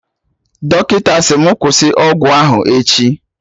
Dọkịta sị mụ kwụsị ọgwụ ahụ echi